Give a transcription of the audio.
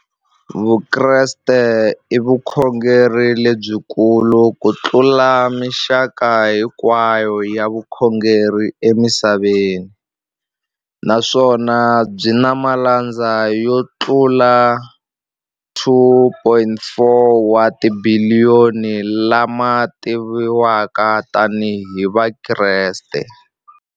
Vukreste i vukhongeri lebyi kulu kutlula mixaka hinkwayo ya vukhongeri emisaveni, naswona byi na malandza yo tlula 2.4 wa tibiliyoni, la ma tiviwaka tani hi Vakreste.